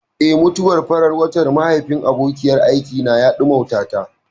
Eh, mutuwar farar watan mahaifin abokiyar aikina ya ɗimautata.